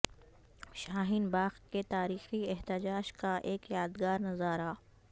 شاہین باغ کے تاریخی احتجاج کا ایک یادگار نظارہ